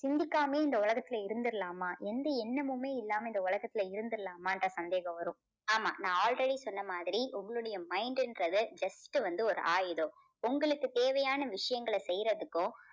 சிந்திக்காமையும் இந்த உலகத்துல இருந்திடலாமா எந்த எண்ணமுமே இல்லாம இந்த உலகத்துல இருந்திடலாமான்ற சந்தேகம் வரும். ஆமா நான் already சொன்ன மாதிரி உங்களுடைய mind ன்றது just வந்து ஒரு ஆயுதம். உங்களுக்கு தேவையான விஷயங்களை செய்யறத்துக்கும்